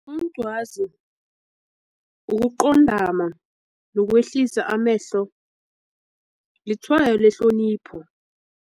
ukuqondama nokwehlisa amehlo litshwayo lehlonipho.